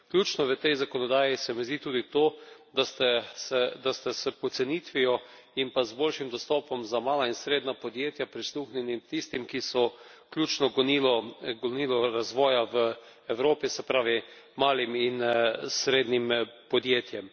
Ključno v tej zakonodaji se mi zdi tudi to, da ste se s pocenitvijo in pa z boljšim dostopom za mala in srednja podjetja prisluhnili tistim, ki so ključno gonilo razvoja v Evropi, se pravi malim in srednjim podjetjem.